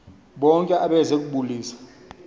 bonke abeze kubulisa